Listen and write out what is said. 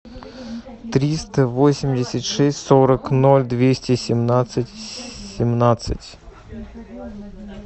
триста восемьдесят шесть сорок ноль двести семнадцать семнадцать